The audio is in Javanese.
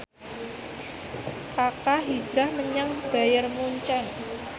Kaka hijrah menyang Bayern Munchen